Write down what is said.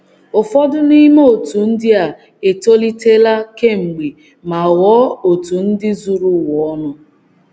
Ụfọdụ n’ime òtù ndị a etolitela kemgbe ma ghọọ òtù ndị zuru ụwa ọnụ.